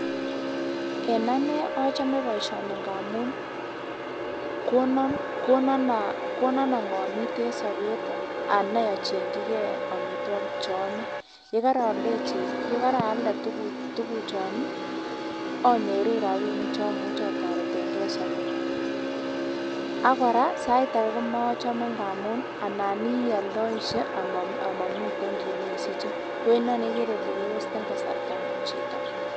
En anee ochome boishoni ng'amun konon ong'omit en sobet anai ichengyike omitwokik choome, yekorooldechi yekaalde tukuchon anyoru rabinik chomuche itoreteng'e en sobenyin, ak kora sait akee komochome amun anan ialdoishe amomiten kiit nesiche ko inoni ikere ilee kewesten kasartangung chito.